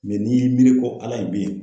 n'i y'i miiri ko ala in bɛ yen.